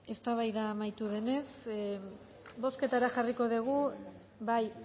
eztabaida amaitu denez bozketara jarriko dugu bai